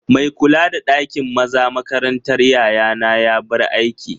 Mai kula da ɗakin maza makarantar yayana ya bar aiki